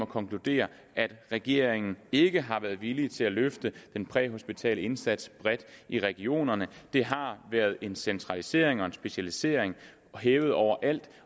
konkludere at regeringen ikke har været villig til at løfte den præhospitale indsats bredt i regionerne det har været en centralisering og specialisering hævet over alt